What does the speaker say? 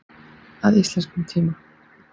Að íslenskum tíma.